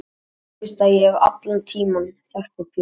Og nú veistu að ég hef allan tímann þekkt þig Pétur.